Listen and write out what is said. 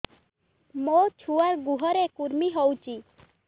ମୋ ଛୁଆର୍ ଗୁହରେ କୁର୍ମି ହଉଚି